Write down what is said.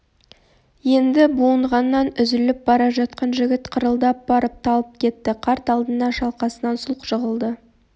енді буынғаннан үзіліп бара жатқан жігіт қырылдап барып талып кетті қарт алдына шалқасынан сұлқ жығылды